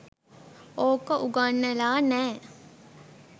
ඕක උගන්නලා නෑ